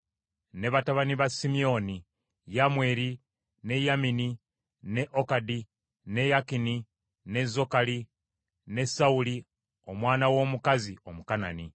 Ne batabani ba Simyoni: Yamweri, ne Yamini, ne Okadi, ne Yakini, ne Zokali ne Sawuli omwana w’omukazi Omukanani.